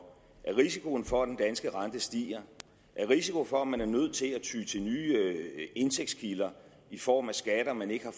risiko for at den danske rente stiger af risiko for at man er nødt til at ty til nye indtægtskilder i form af skatter man ikke har